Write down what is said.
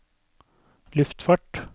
luftfart